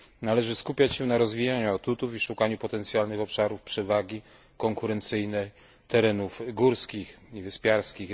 Należy skupiać się na rozwijaniu atutów i szukaniu potencjalnych obszarów przewagi konkurencyjnej terenów górskich i wyspiarskich.